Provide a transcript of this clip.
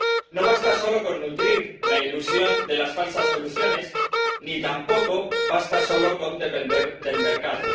No basta solo con nutrir la ilusión de las falsas soluciones, ni tampoco basta solo con depender del mercado.